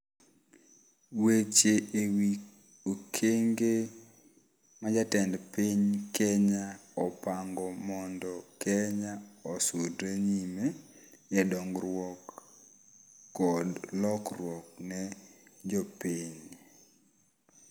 Weche ewi okenge ma jatend piny Kenya opango mondo Kenya osudre nyime e dongruok kod lokruok ne jopiny.